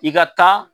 I ka taa